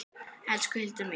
Elsku Hildur mín.